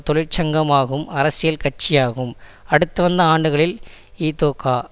தொழிற்சங்கமாகும்அரசியல் கட்சியாகும் அடுத்துவந்த ஆண்டுகளில் இதொகா